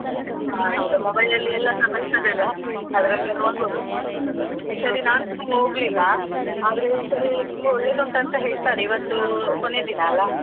ಈಗ mobile ಅಲ್ಲಿ ಎಲ್ಲಸಾ ಬರ್ತದಲ್ಲ, ಅದ್ರಲ್ಲಿ ನೋಡಬೋದು. ಈ ಸಲ ನಾನ್ ಸ ಹೋಗ್ಲಿಲ್ಲ, ಆದ್ರೆ ಈ ಸಲಿ ತುಂಬಾ ಒಳ್ಳೇದ್ ಉಂಟ್ ಅಂತಾ ಹೇಳ್ತಾರೆ, ಇವತ್ತು ಕೊನೆದಿನ ಅಲ್ಲಾ.